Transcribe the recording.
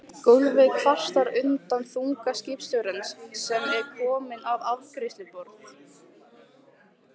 Gólfið kvartar undan þunga skipstjórans sem er kominn að afgreiðsluborð